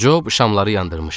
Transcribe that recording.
Cob şamları yandırmışdı.